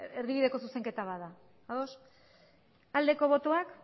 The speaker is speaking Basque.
erdibideko zuzenketa bat da ados bozka dezakegu aldeko botoak